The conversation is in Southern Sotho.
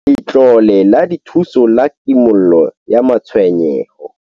Letlole la Dithuso la Kimollo ya Matshwenyeho